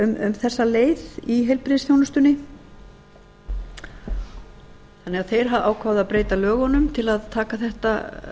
um þessa leið í heilbrigðisþjónustunni þannig að þeir ákváðu að breyta lögunum til að taka þetta